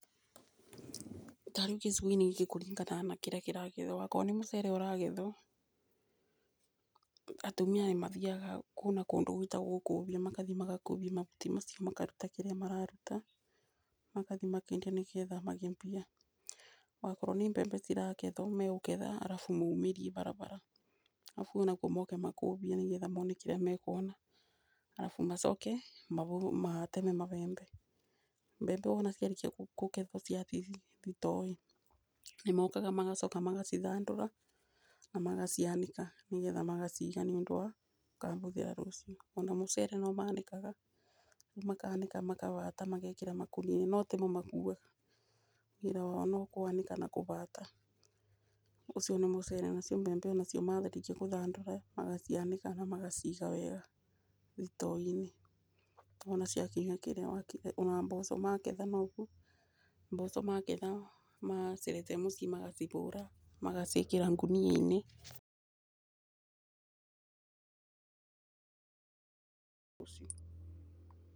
Tarĩu gĩcigo gĩkĩ kũringanaga na kĩrĩa kĩragethwo, wakorwo nĩ mũcere ũragethwo, atumia nĩmathiaga kũu kũndũ gũĩtagwo Ngũbiũ, magathiĩ magakũbia mahuti macio makaruta kĩrĩa mararuta, magathiĩ makendia nĩgetha magĩe mbia. Wakorwo nĩ mbembe ciragetha, mekũgetha arabu maumĩrie barabara, arabu kũu moke makũbie nĩgetha mone kĩrĩa mekuona. Arabu macoke mateme mabebe. Mbembe ciarĩkia kũgethwo na kũigwo thitoo rĩ, nĩmokaga magacoka magacithandũra, na magacianĩka nĩgetha maciga nĩũndũ wa gũkahũthĩra rũciũ. Ona mũcere nomanĩkaga, makanĩka makaũhata makawĩkĩra makũnia-inĩ, notimo makuwaga, wĩra wao nokũanĩka na kũũbata. Ũcio nĩ mũcere, nacio mbembe marĩkia gũcithandũra, magacianĩka namagaciga wega, thitoo-inĩ. Ona mboco magetha noguo. Mboco magetha magacirete mũciĩ magacihũra, magaciĩkĩra ngũnia-inĩ.